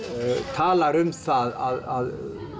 talar um að